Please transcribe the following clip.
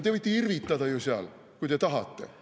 Te võite irvitada ju seal, kui te tahate.